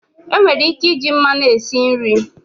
Enwere ike iji mmanụ esi nri.